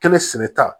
Kɛnɛ sɛnɛ ta